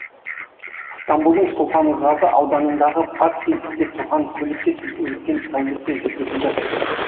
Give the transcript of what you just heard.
стамбулдың сұлтанғазы ауданындағы паркингте тұрған көлікке тінту өткен тәулікте жүргізілді